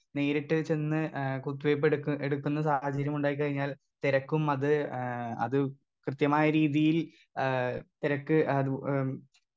Speaker 2 നേരിട്ട് ചെന്ന് ഏ കുത്തിവെപ്പെട്ക്ക് എടുക്കുന്ന സാഹചര്യമുണ്ടായിക്കഴിഞ്ഞാൽ തിരക്കും അത് ഏ അത് കൃത്യമായ രീതിയിൽ ആ തിരക്ക് അത് ഏ.